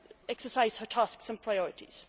exercise her tasks and priorities.